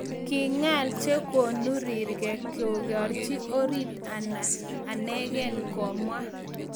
"Ki ng'al che konu rirgei kegerchon orit anagen, komwa."